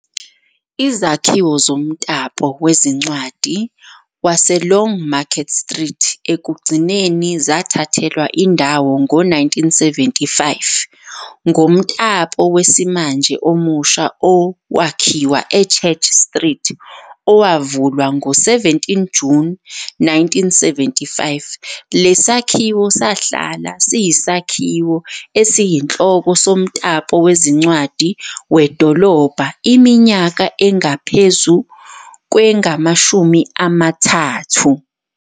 Izakhiwo zomtapo wezincwadi waseLongmarket Street ekugcineni zathathelwa indawo ngo-1975 ngomtapo wesimanje omusha owakhiwa eChurch Street, owavulwa ngo-17 June 1975. Lesi sakhiwo sahlala siyisakhiwo esiyinhloko somtapo wezincwadi wedolobha iminyaka engaphezu kwengu-30.